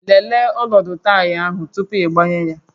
Lelee ọnọdụ taya ahụ tupu ịgbanye ya